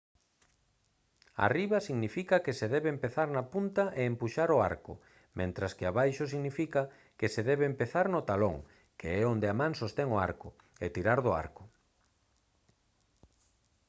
arriba significa que se debe empezar na punta e empuxar o arco mentres que abaixo significa que se debe empezar no talón que é onde a man sostén o arco e tirar do arco